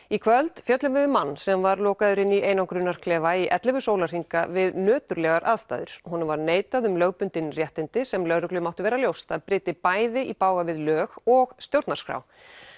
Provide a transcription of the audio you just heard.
í kvöld fjöllum við um mann sem var lokaður inni í einangrunarklefa í ellefu sólarhringa við nöturlegar aðstæður honum var neitað um lögbundin réttindi sem lögreglu mátti vera ljóst að bryti bæði í bága við lög og stjórnarskrá